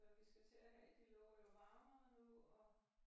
Og vi skal til at have de lover jo varmere nu og